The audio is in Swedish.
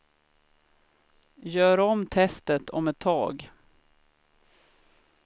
Gör om testet om ett tag.